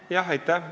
Aitäh!